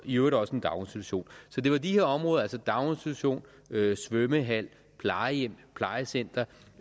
i øvrigt også en daginstitution så det var de her områder altså daginstitution svømmehal plejehjem plejecenter